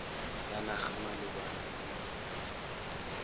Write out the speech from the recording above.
ya naga malebana le metswedi